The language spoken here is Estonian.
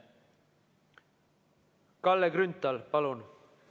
Kalle Grünthal, palun!